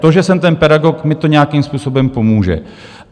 To, že jsem ten pedagog, mi to nějakým způsobem pomůže.